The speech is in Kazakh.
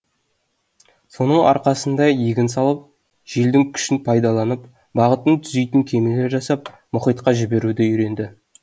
соның арқасында егін салып желдің күшін пайдаланып бағытын түзейтін кемелер жасап мұхитқа жіберуді үйренді